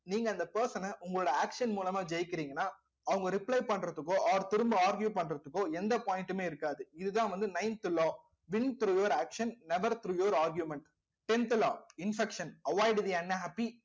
நீங்க அந்த person அ உங்களோட action மூலமா ஜெயிக்கிறீங்கன்னா அவங்க reply பண்றதுக்கோ or திரும்ப argue பண்றதுக்கோ எந்த point மே இருக்காது இதுதான் வந்து ninth law win through your action never through your argument tenth law infection avoid the unhappy